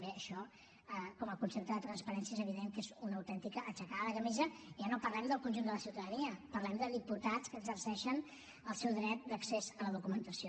bé això com a concepte de transparència és evident que és una autèntica aixecada de camisa ja no parlem del conjunt de la ciutadania parlem de diputats que exerceixen el seu dret d’accés a la documentació